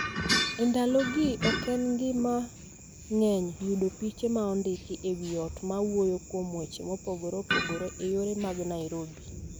E ndalogi, ok en gima ng�eny yudo piche ma ondiki e wi ot ma wuoyo kuom weche mopogore opogore e yore mag Nairobi.